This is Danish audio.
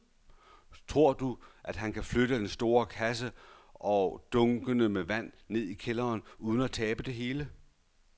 Tror du, at han kan flytte den store kasse og dunkene med vand ned i kælderen uden at tabe det hele?